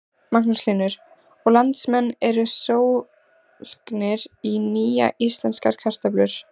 Magnús Hlynur: Og landsmenn eru sólgnir í nýjar íslenskar kartöflur?